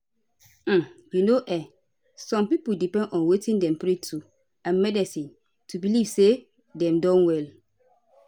um you know[um]some pipo depend on wetin dem pray to and medicine to belief say dem don well